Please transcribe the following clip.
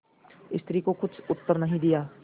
स्त्री को कुछ उत्तर नहीं दिया